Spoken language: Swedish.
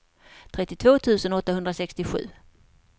trettiotvå tusen åttahundrasextiosju